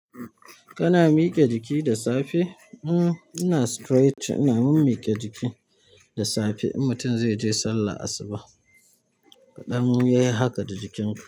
Kana miƙe jiki da safe? Uhm, ina stretch, ina mimmiƙe jiki da safe. Mutum zai je sallah asubah kaɗan ya yi haka da jikin ku.